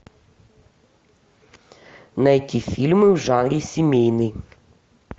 найти фильмы в жанре семейный